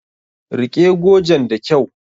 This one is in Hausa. Rike gojen da kyau!